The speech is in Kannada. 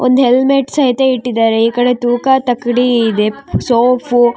ಒಂದ್ ಹೆಲ್ಮೆಟ್ ಸಹಿತ ಇಟ್ಟಿದ್ದಾರೆ ಈ ಕಡೆ ತೂಕ ತಕ್ಕಾಡಿ ಇದೆ ಸೋಪು --